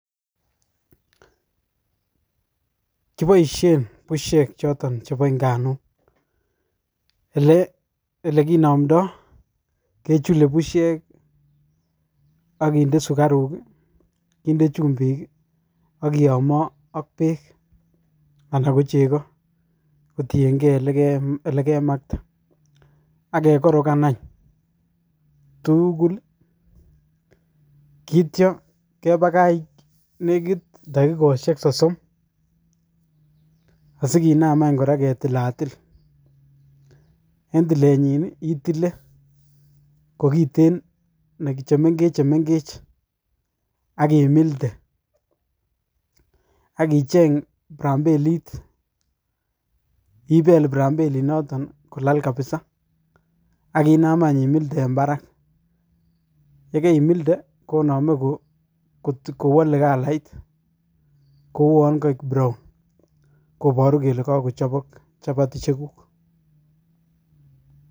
Kiboisien bushek choto chepo nganuk elekinomto kechule busiek akinde sukaruk, kinde chumbik akiyomo ak beek ana ko cheko kotienge elekemakte akekorokan any tugul kityo kepakach nekit takikosiek nekit sosom asikinam any kora ketilatil en tilrnyi itile chemengech chemengech akimilde akichen prampenit ipel prampenito kolal kabisa akinam any imilde en parak yekaimilde konome kowole kalait kouwon koik brown koboru kele kokochopok chapati chekuk.